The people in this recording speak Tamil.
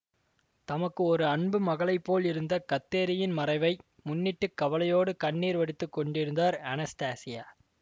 தமக்கு ஒரு அன்பு மகளைப் போல் இருந்த கத்தேரியின் மறைவை முன்னிட்டுக் கவலையோடு கண்ணீர் வடித்துக்கொண்டிருந்தார் அனஸ்தாசியா